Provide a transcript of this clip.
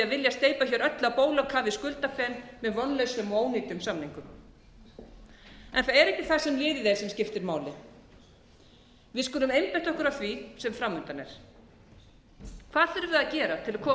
vilja steypa hér öllu á bólakaf í skuldafen með vonlausum og ónýtum samningum það er ekki það sem liðið er sem skiptir máli við skulum einbeita okkur að því sem framundan er hvað þurfum við að gera til að komast upp úr þessum öldudal sem við erum